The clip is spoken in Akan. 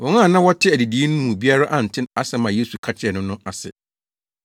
Wɔn a na wɔte adidii no mu biara ante asɛm a Yesu ka kyerɛɛ no no ase.